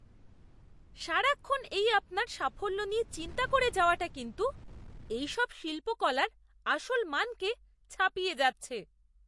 সারাক্ষণ এই আপনার সাফল্য নিয়ে চিন্তা করে যাওয়াটা কিন্তু এইসব শিল্পকলার আসল মানকে ছাপিয়ে যাচ্ছে।